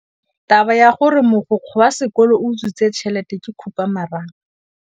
Taba ya gore mogokgo wa sekolo o utswitse tšhelete ke khupamarama.